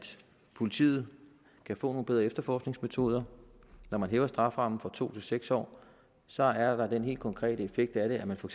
politiet kan få nogle bedre efterforskningsmetoder når man hæver strafferammen fra to til seks år så er der den helt konkrete effekt af det at man for